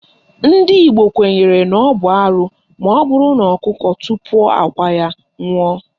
Ndị Igbo kwenyere na ọ bụ arụ maọbụrụ na ọkụkọ tupuo akwa ya ṅụọ